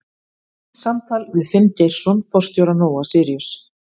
Samtal við Finn Geirsson forstjóra Nóa-Síríus.